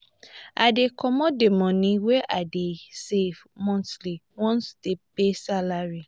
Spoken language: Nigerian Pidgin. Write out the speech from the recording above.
i dey comot di moni wey i dey save monthly once dem pay salary.